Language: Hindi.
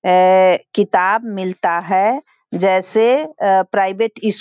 ए- किताब मिलता है। जैसे अ- प्राइवेट स्कू --